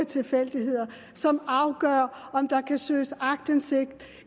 tilfældigheder som afgør om der kan søges aktindsigt